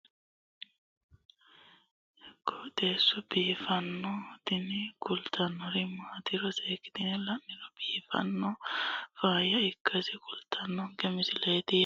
tini lowo geeshsha biiffannoti dancha gede biiffanno footo danchu kaameerinni haa'noonniti qooxeessa biiffannoti tini kultannori maatiro seekkine la'niro biiffannota faayya ikkase kultannoke misileeti yaate